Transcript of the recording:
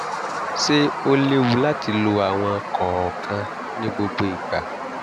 ṣé ó léwu láti lo àwọn kọ̀ọ̀kan ní gbogbo ìgbà?